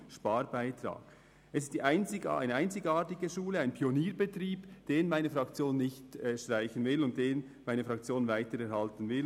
Es ist eine einzigartige Schule, ein Pionierbetrieb, den meine Fraktion weiter erhalten will.